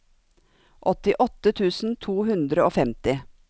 åttiåtte tusen to hundre og femti